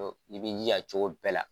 I b'i jija cogo bɛɛ la